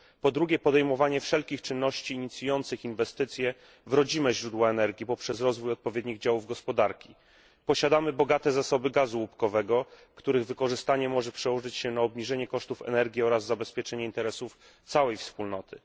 Po drugie, podejmowanie wszelkich czynności inicjujących inwestycje w rodzime źródła energii poprzez rozwój odpowiednich działów gospodarki. Posiadamy bogate zasoby gazu łupkowego, których wykorzystanie może przełożyć się na obniżenie kosztów energii oraz zabezpieczenie interesów całej Wspólnoty.